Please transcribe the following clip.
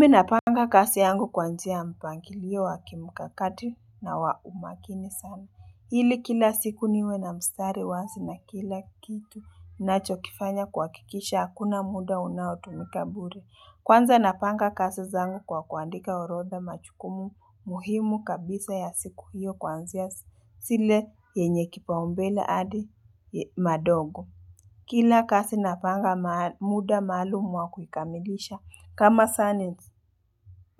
Mi napanga kasi yangu kwa njia mpangilio wa kimukakati na wa umakini sana. Hili kila siku niwe na mstari wazi na kila kitu nacho kifanya kuwakikisha hakuna muda unaotumika bure. Kwanza napanga kasi zangu kwa kuandika orodha machukumu muhimu kabisa ya siku hiyo kwa njia sile yenye kipaumbela adi madogo. Kila kasi napanga muda maalumu wa kukamilisha.